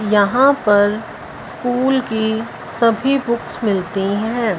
यहां पर स्कूल की सभी बुक्स मिलती हैं।